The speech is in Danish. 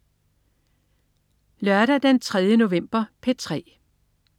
Lørdag den 3. november - P3: